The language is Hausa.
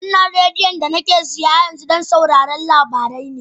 Wannan rediyon da nake siya yanzu don sauraron labarai ne